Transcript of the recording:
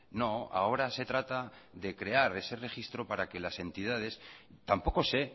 no ahora se trata de crear ese registro para que las entidades tampoco sé